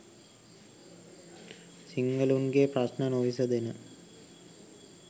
සිංහලුන් ගේ ප්‍රශ්ණ නොවිසඳෙන